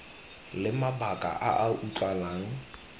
le mabaka a a utlwalang